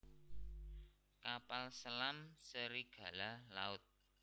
Kapal selam Serigala Laut